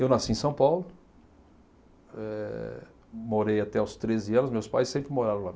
Eu nasci em São Paulo, eh morei até os treze anos, meus pais sempre moraram lá.